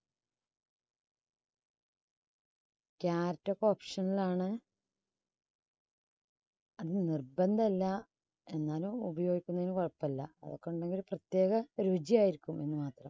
carrot ാക്കെ optional ആണ്. അത് നിർബന്ധല്ലാ എന്നാലും ഉപയോഗിക്കുന്നതിന് കുഴപ്പില്ലാ അതൊക്കെ ഉണ്ടെങ്കിൽ പ്രത്യേക രുചി ആയിരിക്കും എന്ന് മാത്രം.